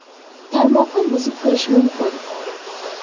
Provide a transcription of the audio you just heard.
Tarmoqqa buzib kirish mumkin.